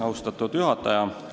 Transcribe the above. Austatud juhataja!